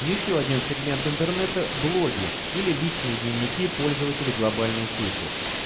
ещё один сегмент интернета блоги или личные дневники пользователей глобальной сети